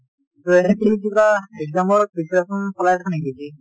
এনেই তুমি কিবা exam ৰ preparation চলাই আছা নেকি ?